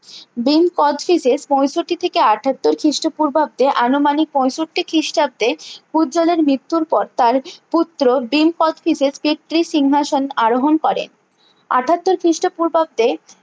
ভীম কোচটিজের পঁয়ষট্টি থেকে আটাত্তর খিস্ট পূর্বাব্দে আনুমানিক পঁয়ষট্টি খিষ্টাব্দে পূজ্যালের মৃত্যুর পর তার পুত্র ভীম কোচটিজের সিংহাসনে আরোহন করে আটাত্তর খিস্ট পূর্বাব্দে